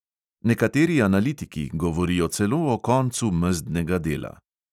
Nekateri analitiki govorijo celo o koncu mezdnega dela.